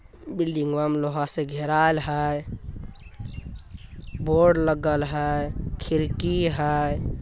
Building म लोहा से घेराव है बोर्ड लगल है खिड़की हैं ।